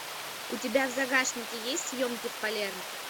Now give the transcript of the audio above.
у тебя в загашнике есть съемки в палермо